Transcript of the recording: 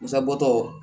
Musabɔtɔ